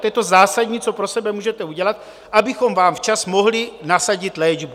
To je to zásadní, co pro sebe můžete udělat, abychom vám včas mohli nasadit léčbu.